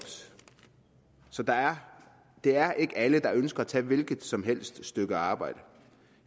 så det er ikke alle der ønsker at tage et hvilket som helst stykke arbejde